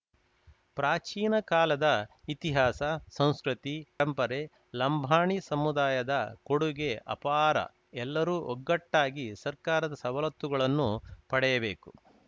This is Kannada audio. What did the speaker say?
ಪ್ರಾಚೀನ ಕಾಲದ ಇತಿಹಾಸ ಸಂಸ್ಕೃತಿ ಪರಂಪರೆ ಲಂಬಾಣಿ ಸಮುದಾಯದ ಕೊಡುಗೆ ಅಪಾರ ಎಲ್ಲರೂ ಒಗ್ಗಟ್ಟಾಗಿ ಸರ್ಕಾರದ ಸವಲತ್ತುಗಳನ್ನು ಪಡೆಯಬೇಕು